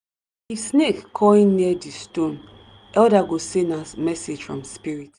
if snake coil near di stone elder go say na message from spirit.